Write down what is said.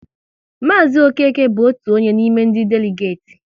Maazi Okeke bụ otu onye n'ime ndị deligeti